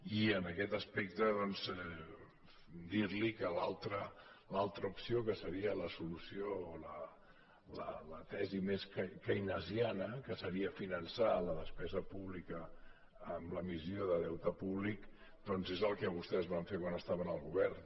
i en aquest aspecte doncs dir li que l’altra opció que seria la solució o la tesi més keynesiana que seria finançar la despesa pública amb l’emissió de deute públic doncs és el que vostès van fer quan estaven al govern